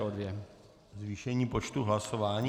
To je zvýšení počtu hlasování.